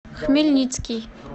хмельницкий